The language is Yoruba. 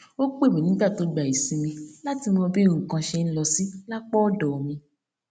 ó pè mí nígbà tó gba ìsinmi láti mọ bí nǹkan ṣe ń lọ sí lápá òdò mi